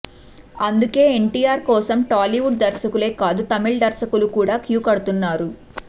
అందుకే ఎన్టీఆర్ కోసం టాలీవుడ్ దర్శకులే కాదు తమిళ దర్శకులు కూడా క్యూ కడుతున్నారు